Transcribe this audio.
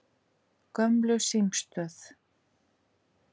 Gömlu símstöð